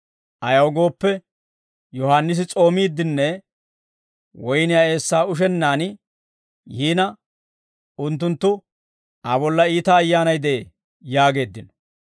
Ayaw gooppe, Yohaannisi s'oomiidenne woyniyaa eessaa ushennaan yiina unttunttu, ‹Aa bolla iita ayyaanay de'ee› yaageeddino.